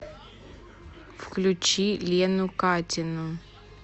включи лену катину